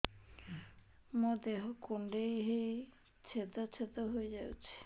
ମୋ ଦେହ କୁଣ୍ଡେଇ ହେଇ ଛେଦ ଛେଦ ହେଇ ଯାଉଛି